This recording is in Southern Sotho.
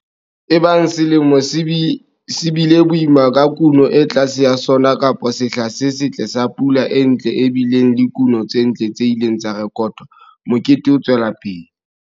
Ebang selemo se bile boima ka kuno e tlase ya sona kapa sehla se setle sa pula e ntle e bileng le kuno tse ntle tse ileng tsa rekotwa, mokete o tswela pele.